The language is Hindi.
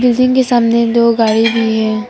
बिल्डिंग के सामने दो गाड़ी भी है।